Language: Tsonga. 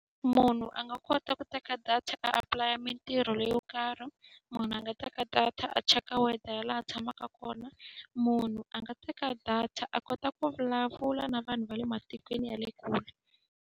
Munhu a nga kota ku teka data a apulaya mintirho leyo karhi, munhu a nga teka data a cheka weather ya laha a tshamaka kona, munhu a nga teka data a kota ku vulavula na vanhu va le matikweni ya le kule.